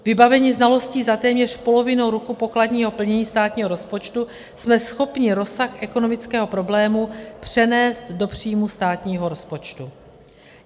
Vybaveni znalostí za téměř polovinu roku pokladního plnění státního rozpočtu jsme schopni rozsah ekonomického problému přenést do příjmů státního rozpočtu.